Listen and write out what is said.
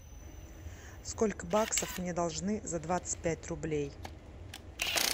сколько баксов мне должны за двадцать пять рублей